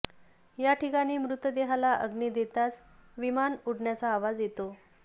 याठिकाणी मृतदेहाला अग्नी देताच विमान उडण्याचा आवाज येतो